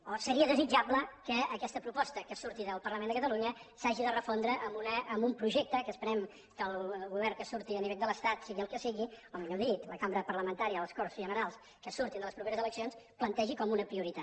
o seria desitjable que aquesta proposta que surti del parlament de catalunya s’hagi de refondre amb un projecte que esperem que el govern que surti a nivell de l’estat sigui el que sigui o millor dit la cambra parlamentària les corts generals que surtin de les properes eleccions plantegi com una prioritat